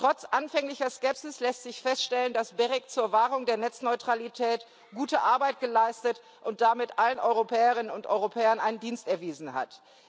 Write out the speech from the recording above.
Trotz anfänglicher Skepsis lässt sich feststellen, dass das GEREK zur Wahrung der Netzneutralität gute Arbeit geleistet und damit allen Europäerinnen und Europäern einen Dienst erwiesen hat.